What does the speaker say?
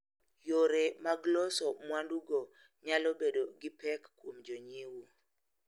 Yore mag loso mwandugo nyalo bedo gi pek kuom jonyiewo.